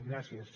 gràcies